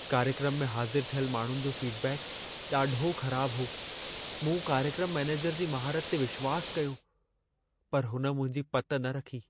कार्यक्रम में हाज़िर थियल माण्हुनि जो फीडबैक ॾाढो ख़राब हो। मूं कार्यक्रम मैनेजर जी महारत ते विश्वास कयो, पर हुन मुंहिंजी पति न रखी।